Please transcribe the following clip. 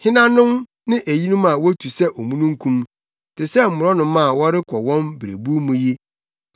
“Henanom ne eyinom a wotu sɛ omununkum, te sɛ mmorɔnoma a wɔrekɔ wɔn berebuw mu yi?